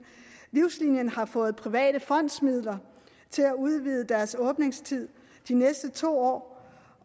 livslinien har fået private fondsmidler til at udvide deres åbningstid de næste to år